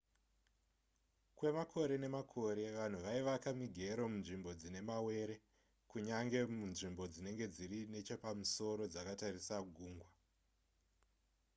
kwemakore nemakore vanhu vaivaka migero munzvimbo dzine mawere kunyange munzvimbo dzinenge dziri nechepamusoro dzakatarisa gungwa